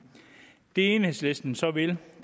det enhedslisten så vil